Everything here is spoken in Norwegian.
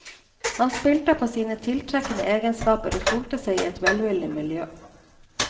Han spilte på sine tiltrekkende egenskaper og solte seg i et velvillig miljø.